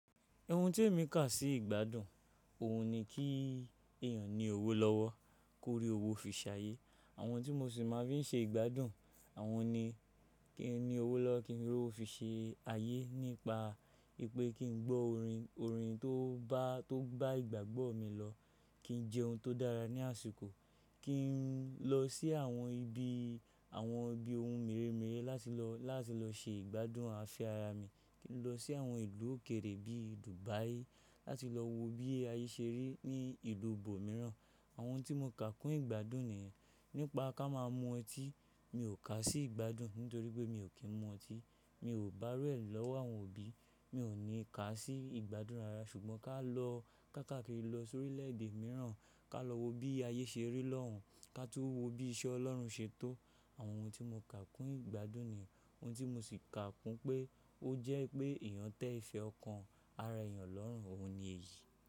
Ohun tí èmi kà sí ìgbádùn, òun ni kí èèyàn ní owó lọ́wọ́, kó rí owó fi ṣe ayé. Àwọn tí mo sì máa fi ń ṣe ìgbádùn, àwọn ni kí n ní owó lọ́wọ́ kí n rí owó fi ṣe ayé nípa wìpé kí n gbọ́ orin, orin tó bá, tó gbá ìgbàgbọ́ mi lọ. Kí n jẹ ohun tó dára ní àsìkò. Kí n lọ sí àwọn ibi, àwọn ibi ohun mèremère láti lọ, láti lọ ṣe ìgbádùn afẹ́ ara mi. Kí n lọ sí àwọn ìlú òkèèrè bí i Dubai láti lọ wo bí ayé ṣe rí ní ìlú ibo mìíràn. Àwọn ohun tí mo kà kún ìgbádùn nìyẹn. Nípa ká máa mu ọtí, mi ò kà sí ìgbádùn nítorí pé mi ò kí ń mu ọtí. Mi ò bá iru e lọ́wọ́ àwọn òbí, mi ò ní kà sí ìgbádùn rara ṣùgbọ́n ká lọ, ká káàkiri lọ sórí ilẹ̀ èdè mìíràn, ká lọ wo bí ayé ṣe rí lọ́hùn, ká tún wo bí iṣẹ́ Ọlọ́run ṣe tó. Àwọn ohun tí mo kà kún ìgbádùn nìyẹn. Ohun tí mo sì kà kún pé ó jẹ́ pé èèyàn tẹ ìfẹ́ ọkàn ara èèyàn lọ́rùn, òun ni èyí.